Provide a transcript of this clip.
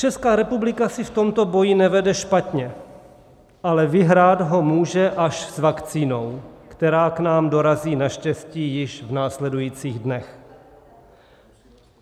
Česká republika si v tomto boji nevede špatně, ale vyhrát ho může až s vakcínou, která k nám dorazí naštěstí již v následujících dnech.